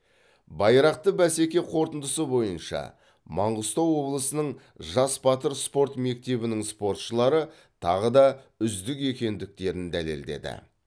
байрақты бәсеке қорытындысы бойынша маңғыстау облысының жас батыр спорт мектебінің спортшылары тағы да үздік екендіктерін дәлелдеді